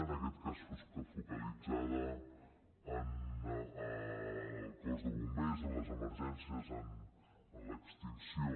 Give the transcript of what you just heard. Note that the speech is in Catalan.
en aquest cas focalitzada en el cos de bombers en les emergències en l’extinció